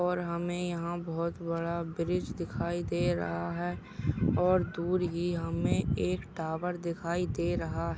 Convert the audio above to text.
और हमे यहा बहुत बड़ा ब्रिज दिखाई दे रहा है। और दूर ही हमे एक टावर दिखाई दे रहा है।